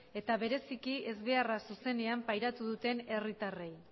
eta bereziki ez beharra zuzenean pairatu duten herritarrei